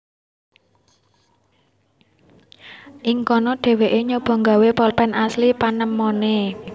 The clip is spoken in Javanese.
Ing kono dheweke nyoba gawé polpen asil panemone